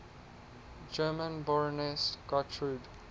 german baroness gertrud